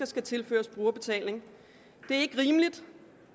skal tilføres brugerbetaling det er ikke rimeligt